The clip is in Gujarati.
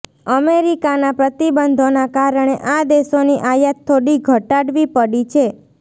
અમેરિકાના પ્રતિબંધોના કારણે આ દેશોની આયાત થોડી ઘટાડવી પડી છે